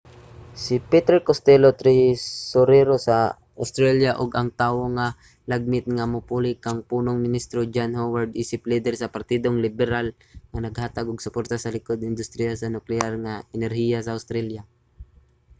si peter costello tresurero sa australia ug ang tawo nga lagmit nga mopuli kang punong ministro john howard isip lider sa partidong liberal naghatag og suporta sa likod sa industriya sa nukleyar nga enerhiya sa australia